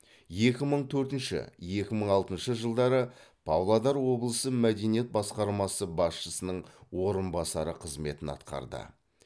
екі мың төртінші екі мың алтыншы жылдары павлодар облысы мәдениет басқармасы басшысының орынбасары қызметін атқарды